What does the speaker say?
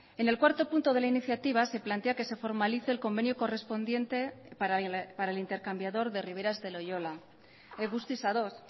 en el cuarto punto de la iniciativa se plantea que se formalice el convenio correspondiente para el intercambiador de riberas de loiola guztiz ados